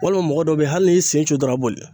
Walima mɔgɔ dɔ bɛ yen hali n'i sen jun dɔrɔnw a bɛ boli.